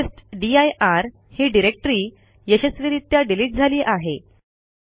आता टेस्टदीर ही डिरेक्टरी यशस्वीरित्या डिलिट झाली आहे